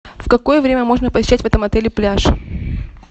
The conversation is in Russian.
в какое время можно посещать в этом отеле пляж